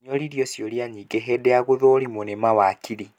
Nĩoririo ciũria nyingĩ hĩndĩ ya gũthũrimwo nĩ mawakiri